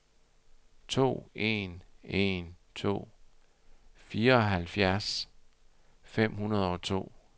to en en to fireoghalvfjerds fem hundrede og to